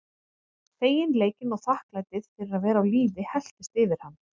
Feginleikinn og þakklætið fyrir að vera á lífi helltist yfir hann.